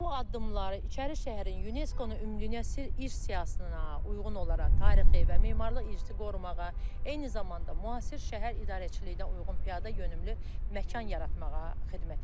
Bu addımları İçərişəhərin UNESCO-nun ümumdünya irs siyahısına uyğun olaraq tarixi və memarlıq irsi qorumağa, eyni zamanda müasir şəhər idarəçiliyinə uyğun piyadayönümlü məkan yaratmağa xidmət edir.